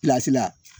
la